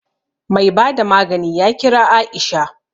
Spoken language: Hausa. Mai bada magani ya kira Aisha